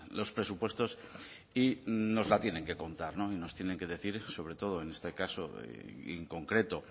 los presupuestos y nos la tienen que contar y no tienen que decir sobre todo y en este caso en concreto